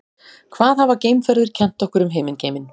hvað hafa geimferðir kennt okkur um himingeiminn